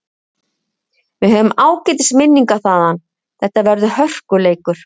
Við höfum ágætis minningar þaðan, þetta verður hörkuleikur.